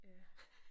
Ja